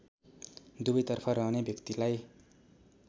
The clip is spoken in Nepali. दुवैतर्फ रहने व्यक्तिलाई